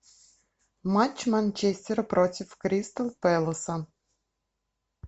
матч манчестера против кристал пэласа